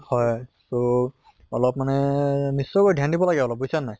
হয় তʼ অলপ মানে so ধ্য়ান দিব লাগে অলপ বুইছা নে নাই